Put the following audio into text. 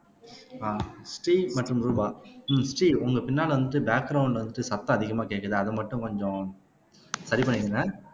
ஆஹ் ஸ்ரீ மற்றும் ரூபா உம் ஸ்ரீ உங்க பின்னால வந்துட்டு பேக்கிரௌண்ட்ல வந்துட்டு சத்தம் அதிகமா கேக்குது அது மட்டும் கொஞ்சம் சரி பண்ணிக்கங்க